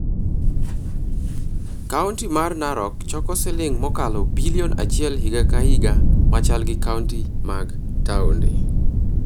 Kaunti mar Narok choko siling mokalo bilion achiel higa ka higa machal gi kaunti mag taonde.